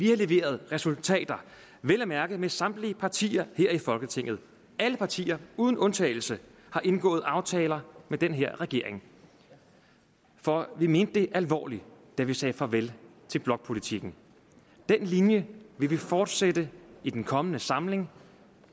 leveret resultater vel at mærke med samtlige partier her i folketinget alle partier uden undtagelse har indgået aftaler med den her regering for vi mente det alvorligt da vi sagde farvel til blokpolitikken den linje vil vi fortsætte i den kommende samling